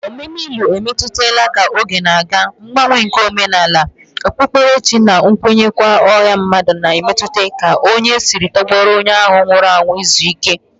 Omume ili etolitela ka oge na-aga, mgbanwe nke omenala, okpukperechi, na nkwenkwe ọha mmadụ na-emetụta ka anyị si tọgbọrọ onye ahụ nwụrụ anwụ izu ike